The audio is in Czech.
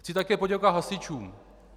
Chci také poděkovat hasičům.